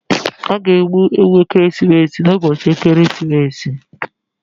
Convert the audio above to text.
A ga-egbu ewu ekeresimesi n'ụbọchị ekeresimesi.